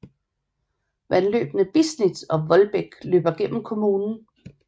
Vandløbene Bisnitz og Wohldbek løber gennem kommunen